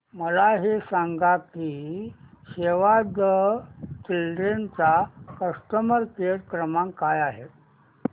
मला हे सांग की सेव्ह द चिल्ड्रेन चा कस्टमर केअर क्रमांक काय आहे